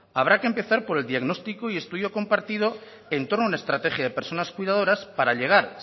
habrá que empezar por el diagnóstico y estudio compartido en torno a una estrategia de personas cuidadoras para llegar